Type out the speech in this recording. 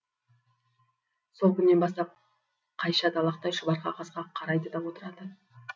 сол күннен бастап қайша далақтай шұбар қағазға қарайды да отырады